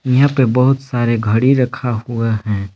यहां पे बहुत सारे घड़ी रखा हुआ है।